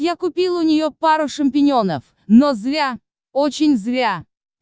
я купил у неё пару шампиньонов но зря очень зря